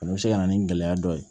O bɛ se ka na ni gɛlɛya dɔ ye